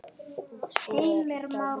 Og svo er það vínið.